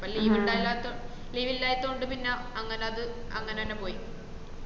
അപോ leave ഇല്ലായ്തോണ്ട് പിന്ന അങ്ങന അത്‌ അങ്ങനെന്ന പോയി